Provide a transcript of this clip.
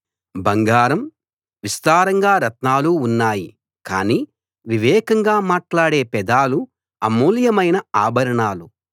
బంగారం విస్తారంగా రత్నాలు ఉన్నాయి కానీ వివేకంగా మాట్లాడే పెదాలు అమూల్యమైన ఆభరణాలు